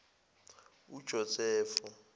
ujosefo